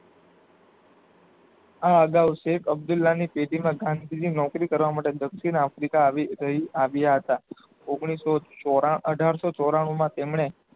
આ અગાઉ શેઠ અબ્દુલરાની પેટીના ઘાટ બીજી નોકરી કરવા માટે દક્ષિણ આવી ગઈ આવ્યા હતા ઓગણીસો ચોરા અઢારસો ચોરાણુમાં તેમણે